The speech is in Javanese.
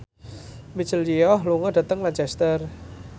Michelle Yeoh lunga dhateng Lancaster